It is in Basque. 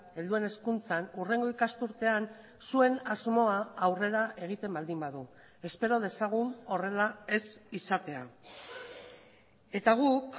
helduen hezkuntzan hurrengo ikasturtean zuen asmoa aurrera egiten baldin badu espero dezagun horrela ez izatea eta guk